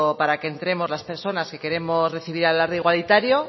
para que entremos las personas que queremos recibir al alarde igualitario